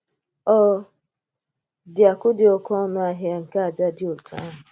Ọ̀ dị akụ̀ dị oké ọnù̀ ahịa nke àjà dị otú àhụ̀?